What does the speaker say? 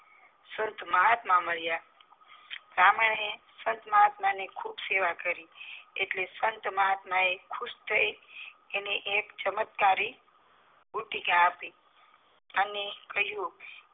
મહાત્મા માળીયા બાહ્મણે સંતમાહત્મ ની ખુબ સેવા કરી એટલે સંતમહાત્મા એ ખુશ થઈ એને એક ચમત્કારી બુટિક આપી અને એને કહીંયુ